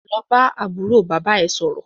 Lọ bá àbúrò bàbá é sọ̀rọ̀!